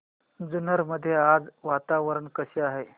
जुन्नर मध्ये आज वातावरण कसे आहे